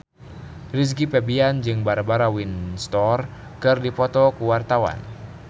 Rizky Febian jeung Barbara Windsor keur dipoto ku wartawan